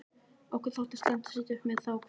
Okkur þótti slæmt að sitja uppi með þá um kvöldið.